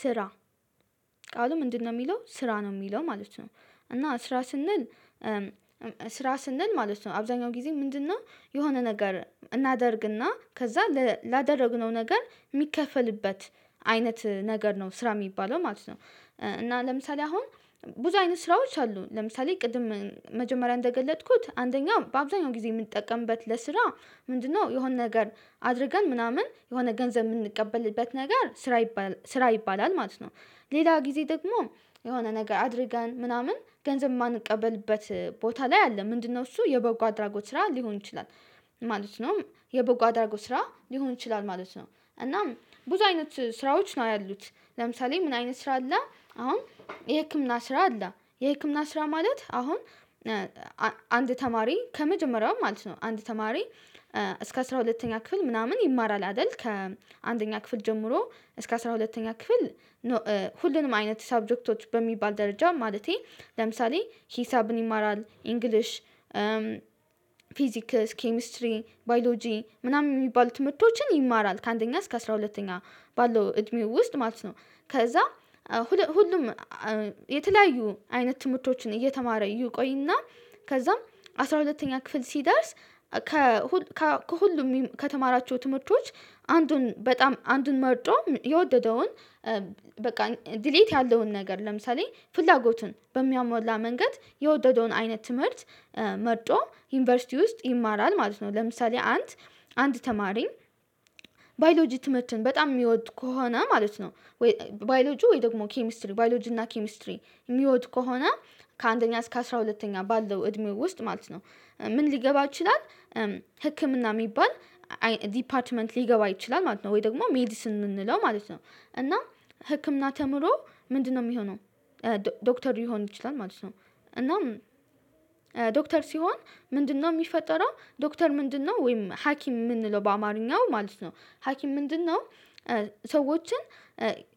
ስራ። ቃሉ ምንድነው የሚለው ስራ ነው የሚለው ማለት ነው። እና ስራ ስንል ስራ ስንል ማለት ነው አብዛኛው ጊዜ ምንድነው? የሆነ ነገር እናደርግና ከዛ ላደረግነው ነገር የሚከፈልበት አይነት ነገር ነው ስራ የሚባለው ማለት ነው። እና ለምሳሌ አሁን ብዙ አይነት ስራዎች አሉ። ለምሳሌ ቅድም መጀመሪያ እንደገለጥኩት አንደኛው በአብዛኛው ጊዜ የምንጠቀምበት ለስራ ምንድነው? የሆነ ነገር አድርገን ምናምን የሆነ ገንዘብ የምንቀበልበት ነገር ስራ ይባላል ማለት ነው። ሌላ ጊዜ ደግሞ የሆነ ነገር አድርገን ምናምን ገንዘብ የማንቀበልበት ቦታ ላይ አለ። ምንድነው እሱ የበጎ አድራጎት ስራ ሊሆን ይችላል። ማለት ነው የቦግ አድራጎት ስራ ሊሆን ይችላል ማለት ነው። እናም ብዙ አይነት ስራዎች ነው ያሉት ለምሳሌ ምን አይነት ስራ አለ። አሁን የህክምና ስራ አለ። የህክምና ስራ ማለት አሁን አንድ ተማሪ ከመጀመሪያው ማለት ነው አንድ ተማሪ እስከ አስራ ሁለተኛ ክፍል ምናምን ይማራል አይደል? ከአንደኛ ክፍል ጀምሮ እስከ አስራ ሁለተኛ ክፍል። ሁሉንም አይነት ሰብጀክቶች በሚባል ደረጃ ማለቴ ለምሳሌ ሂሳብን ይማራል ኢንግሊሽ። ፊዚካስ ኬሚስትሪ ባዮሎጂ ምናምን የሚባሉት ትምህርቶችን ይማራል ከአንደኛ እስከ አስራ ሁለተኛ ባለው እድሜው ውስጥ ማለት ነው። ከዛ ሁሉም የተለያዩ አይነት ትምህርቶችን እየተማረ ይቆይና ከዛም አስራ ሁለተኛ ክፍል ሲደርስ። ከሁሉም ከተማራቸው ትምህርቶች አንዱን በጣም አንዱን መርጦ የወደደውን በቃ ዲሌት ያለውን ነገር ለምሳሌ ፍላጎቱን በሚያሞላ መንገድ የወደደውን አይነት ትምህርት። መርጦ ዩኒቨርሲቲ ውስጥ ይማራል ማለት ነው። ለምሳሌ አንድ አንድ ተማሪ ባዮሎጂ ትምህርትን በጣም የሚወድ ከሆነ ማለት ነው። ባዮሎጂ ወይ ደግሞ ኬሚስትሪ ባዮሎጂ እና ኬሚስትሪ የሚወድ ከሆነ። ከአንደኛ እስከ አስራ ሁለተኛ ባለው እድሜው ውስጥ ማለት ነው። ምን ሊገባ ይችላል? ህክምና የሚባል ዲፓርትመንት ሊገባ ይችላል ማለት ነው። ወይ ደግሞ ሜዲስን የምንለው ማለት ነው። እና ህክምና ተምሮ ምንድነው የሚሆነው? ዶክተር ሊሆን ይችላል ማለት ነው። እና ዶክተር ሲሆን ምንድነው የሚፈጠረው ዶክተር ምንድነው ወይም ሀኪም የምንለው በአማርኛው ማለት ነው። ሀኪም ምንድነው? ሰዎችን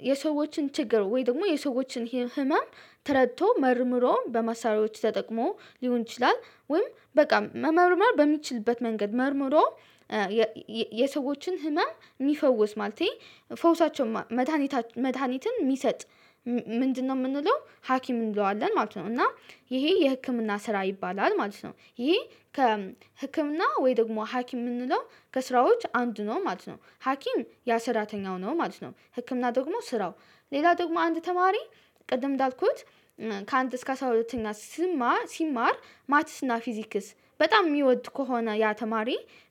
የሰዎችን ችግር ወይ ደግሞ የሰዎችን ህመም ተረድቶ መርምሮም በማሳሪዎች ተጠቅሞ ሊሆን ይችላል ወይም በቃ መመርመር በሚችልበት መንገድ መርምሮ። የሰዎችን ህመም የሚፈውስ ማለት ነው። ፈውሳቸው መድሃኒትን የሚሰጥ ምንድነው የምንለው ሀኪም እንለዋለን ማለት ነው። እና ይሄ የህክምና ስራ ይባላል ማለት ነው። ይሄ ከህክምና ወይ ደግሞ ሀኪም የምንለው ከስራዎች አንድ ነው ማለት ነው። ሀኪም ያ ሰራተኛው ነው ማለት ነው። ህክምና ደግሞ ስራው። ሌላ ደግሞ አንድ ተማሪ ቅድም እንዳልኩት ከአንድ እስከ ሰዓት ሁለተኛ ስማ ሲማር ማትስና ፊዚክስ በጣም የሚወድ ከሆነ ያ ተማሪ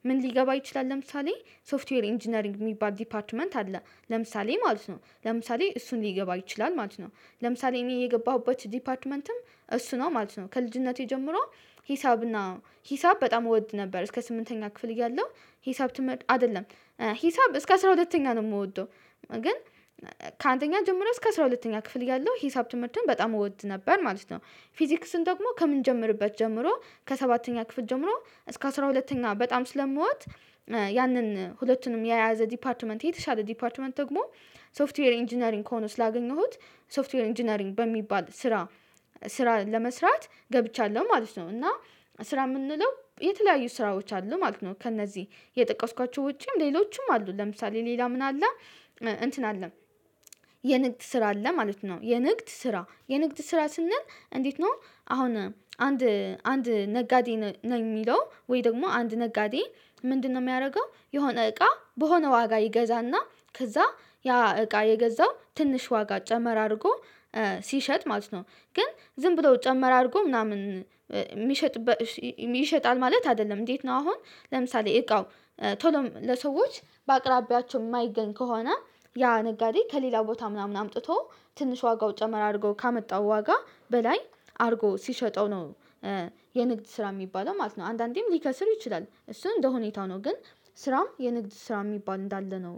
ምን ሊገባ ይችላል ለምሳሌ ሶፍትዌር ኢንጂነሪንግ የሚባል ዲፓርትመንት አለ። ለምሳሌ ማለት ነው ለምሳሌ እሱን ሊገባ ይችላል ማለት ነው። ለምሳሌ እኔ የገባሁበት ዲፓርትመንትም እሱ ነው ማለት ነው። ከልጅነቴ ጀምሮ ሂሳብ እና ሂሳብ በጣም እወድ ነበር እስከ ስምንተኛ ክፍል እያለሁ ሂሳብ አይደለም ሂሳብ እስከ አስራ ሁለተኛ ነው የምወደው። ግን ከአንደኛ ጀምሮ እስከ አስራ ሁለተኛ ክፍል ያለው ሂሳብ ትምህርትን በጣም እወድ ነበር ማለት ነው። ፊዚክስን ደግሞ ከምንጀምርበት ጀምሮ ከሰባተኛ ክፍል ጀምሮ እስከ አስራ ሁለተኛ በጣም ስለምወድ ያንን ሁለቱንም የያዘ ዲፓርትመንት የተሻለ ዲፓርትመንት ደግሞ ሶፍትዌር ኢንጂነሪንግ ከሆነ ስላገኘሁት። ሶፍትዌር ኢንጂነሪንግ በሚባል ስራ ስራ ለመስራት ገብቻለሁ ማለት ነው። እና ስራ የምንለው የተለያዩ ስራዎች አሉ ማለት ነው። ከእነዚህ የጠቀስኳቸው ውጪም ለሌሎችም አሉ ለምሳሌ ሌላ ምን አለ? እንትን አለም የንግድ ስራ አለ ማለት ነው። የንግድ ስራ የንግድ ስራ ስንል እንዴት ነው? አሁን አንድ አንድ ነጋዴ ነው የሚለው ወይ ደግሞ አንድ ነጋዴ? ምንድነው የሚያደርገው የሆነ እቃ በሆነ ዋጋ ይገዛና ከዛ ያ እቃ የገዛው ትንሽ ዋጋ ጨመር አድርጎ። ሲሸጥ ማለት ነው። ግን ዝም ብለው ጨመር አድርጎ ምናምን የሚሸጥ ይሸጣል ማለት አይደለም እንዴት ነው? አሁን ለምሳሌ እቃው ቶሎም ለሰዎች በአቅራቢያቸው የማይገኝ ከሆነ ያ ነጋዴ ከሌላ ቦታ ምናምን አምጥቶ ትንሽ ዋጋው ጨመር አድርጎ ካመጣው ዋጋ በላይ አድርጎ ሲሸጠው ነው። የንግድ ስራ የሚባለው ማለት ነው። አንዳንዴም ሊከስር ይችላል እሱን እንደሁኔታ ነው ግን ስራም የንግድ ስራ የሚባል እንዳለ ነው።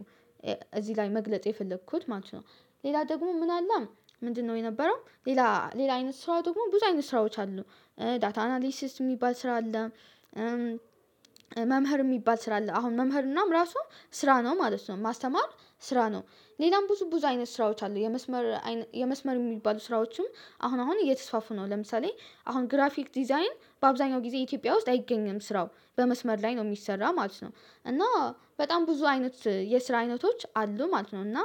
እዚህ ላይ መግለጽ የፈለኩት ማለት ነው። ሌላ ደግሞ ምን አለ? ምንድነው የነበረው? ሌላ ሌላ አይነት ስራ ደግሞ ብዙ አይነት ስራዎች አሉ። ዳታ አናሊሲስ የሚባል ስራ አለ አለ መምህር የሚባል ስራ አለ አሁን መምህር እናም ራሱ ስራ ነው ማለት ነው ማስተማር ስራ ነው። ሌላም ብዙ ብዙ አይነት ስራዎች አሉ። የመስመር የመስመር የሚባሉ ስራዎችም አሁን አሁን እየተስፋፍነው ለምሳሌ አሁን ግራፊክ ዲዛይን በአብዛኛው ጊዜ ኢትዮጵያ ውስጥ አይገኝም ስራው በመስመር ላይ ነው የሚሰራ ማለት ነው። እና በጣም ብዙ አይነት የስራ አይነቶች አሉ ማለት ነው። እና